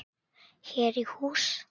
Hér í hús